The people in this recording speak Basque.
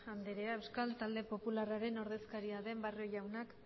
anderea euskal talde popularraren ordezkaria den barrio jaunak